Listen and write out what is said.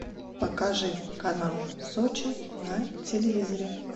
покажи канал сочи на телевизоре